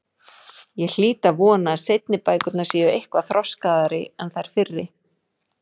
Ég hlýt að vona að seinni bækurnar séu eitthvað þroskaðri en þær fyrri.